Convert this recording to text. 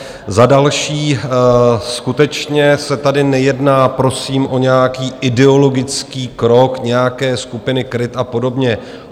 Za další, skutečně se tady nejedná prosím o nějaký ideologický krok nějaké skupiny KRIT a podobně.